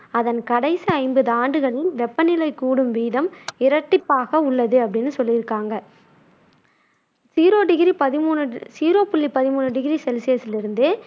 அதன் கடைசி ஐம்பது ஆண்டுகளில் வெப்பநிலை கூடும் வீதம் இரட்டிப்பாக உள்ளது அப்படின்னு சொல்லியிருக்காங்க ஜீரோ டிகிரி பதிமூணு ஜீரோ புள்ளி பதிமூணு டிகிரி செல்சியஸில் இருந்து